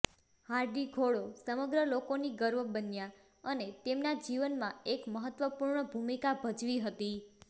Hardy ઘોડો સમગ્ર લોકોની ગર્વ બન્યા અને તેમના જીવન માં એક મહત્વપૂર્ણ ભૂમિકા ભજવી હતી